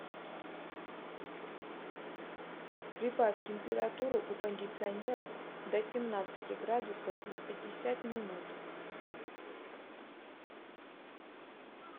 прибавь температуру у кондиционера до семнадцати градусов на пятьдесят минут